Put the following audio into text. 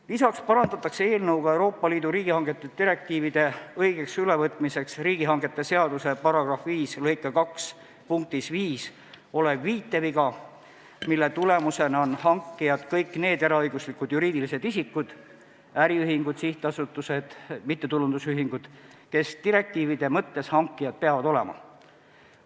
Lisaks parandatakse selle eelnõuga Euroopa Liidu riigihangete direktiivide õigeks ülevõtmiseks riigihangete seaduse § 5 lõike 2 punktis 5 olev viiteviga, mille tulemusena on hankijad kõik need eraõiguslikud juriidilised isikud, sh äriühingud, sihtasutused, mittetulundusühingud, kes direktiivide mõttes hankijad peavad olema.